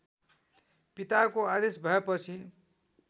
पिताको आदेश भएपछि